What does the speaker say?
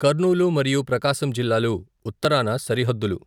కర్నూలు మరియు ప్రకాశం జిల్లాలు ఉత్తరాన సరిహద్దులు.